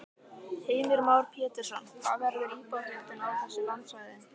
Heimir Már Pétursson: Hvað verður íbúafjöldinn á þessu landsvæði?